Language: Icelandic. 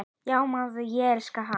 Já maður, ég elska hann.